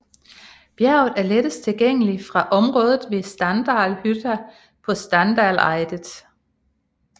Bjerget er lettest tilgængelig fra området ved Standalhytta på Standaleidet